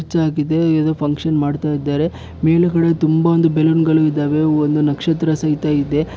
Church ಆಗಿದೆ ಏನೋ function ಮಾಡ್ತಾ ಇದಾರೆ ಮೇಲೆಗಡೆ ತುಂಬಾ ಒಂದು ಬಲೂನ್ಗಳು ಇದಾವೆ ಒಂದು ನಕ್ಷತ್ರ ಸಹಿತ ಇದೆ.